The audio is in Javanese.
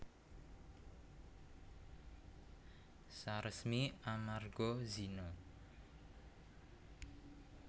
Saresmi amarga zina